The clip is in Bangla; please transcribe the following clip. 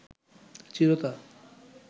চিরতা